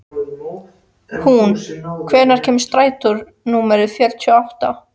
Húnn, hvenær kemur strætó númer fjörutíu og átta?